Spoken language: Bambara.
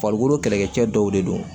Farikolo kɛlɛkɛcɛ dɔw de don